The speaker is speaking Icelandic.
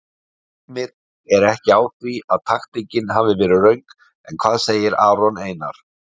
Heimir er ekki á því að taktíkin hafi verið röng en hvað segir Aron Einar?